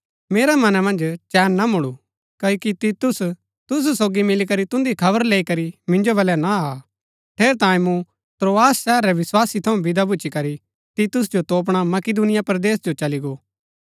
मेरै मना मन्ज चैन ना मुळु क्ओकि तीतुस तुसु सोगी मिलीकरी तुन्दी खबर लैई करी मिन्जो बलै ना आ ठेरैतांये मूँ त्रोआस शहर रै विस्वासी थऊँ विदा भूच्ची करी तीतुस जो तोपणा मकिदूनिया परदेस जो चली गो